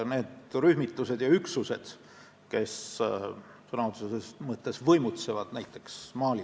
Nimelt, sellel operatsioonil osalevad ka viis riiki, kelle territooriumil see operatsioon toimub: Burkina Faso, Mali, Mauritaania, Niger ja Tšaad.